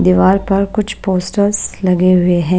दीवार पर कुछ पोस्टर्स लगे हुए हैं।